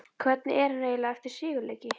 Hvernig er hann eiginlega eftir sigurleiki?